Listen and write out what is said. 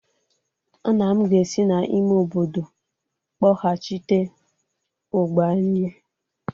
nna m ga-esi n'ime obodo kpọghachite ụgba anyị